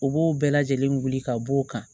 U b'o bɛɛ lajɛlen wuli ka b'o kan